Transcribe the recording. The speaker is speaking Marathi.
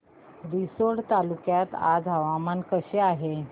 रिसोड तालुक्यात आज हवामान कसे आहे